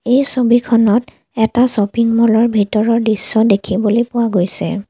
এই ছবিখনত এটা শ্বপিংমলৰ ভিতৰৰ দৃশ্য দেখিবলৈ পোৱা গৈছে।